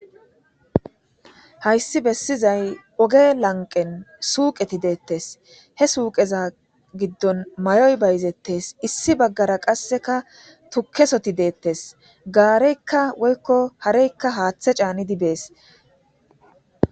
hayssi bessizay oge lanqen suuqeti deettes he suuqeza giddon mayoy bayzettes issi baggara qasseka tuukesoti dettes gaareykka woykko hareykka haththe caanidi bees.